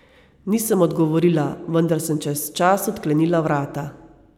Nisem odgovorila, vendar sem čez čas odklenila vrata.